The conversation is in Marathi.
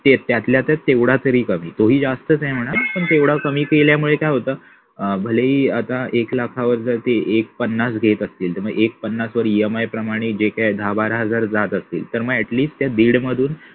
त्यातल्या त्यात तेवढा तरी कमी तोही जास्तच आहे म्हणा पण तेवढा कमी केल्यामुळे काय होत भले ही आता एक लाख जाते एक पन्नास घेत असतील तर मग एक पन्नास वर EMI प्रमाणे जे काय दहा बारा हजार जात असतील तर मग at least त्या दीड मधून